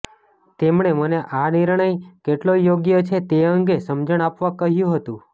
તેમણે મને આ નિર્ણય કેટલો યોગ્ય છે તે અંગે સમજણ આપવા કહ્યું હતું